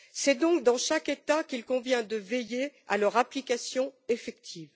C'est donc dans chaque État qu'il convient de veiller à leur application effective.